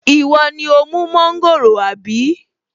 Ìwọ ni ó mú mọ́ńgòrò àbí?